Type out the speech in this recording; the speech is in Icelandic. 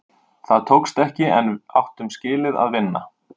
Það tókst ekki, en við áttum skilið að vinna.